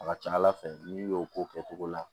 A ka ca ala fɛ n'i y'o k'o kɛ cogo la